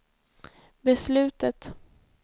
beslutet